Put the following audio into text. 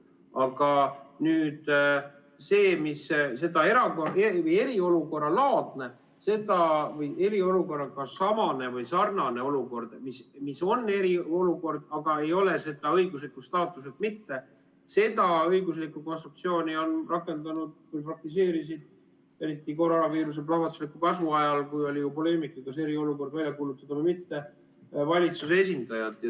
Aga nüüd see, mis on eriolukorralaadne või eriolukorraga samane või sarnane olukord – see on eriolukord, aga ei ole seda õiguslikult staatuselt mitte –, seda õiguslikku konstruktsiooni praktiseerisid eriti koroonaviiruse plahvatusliku kasvu ajal, kui oli ju poleemika, kas eriolukord välja kuulutada või mitte, valitsuse esindajad.